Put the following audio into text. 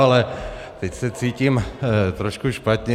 Ale teď se cítím trošku špatně.